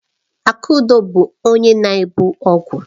Akudo bu onye na-ebu ọgwụ.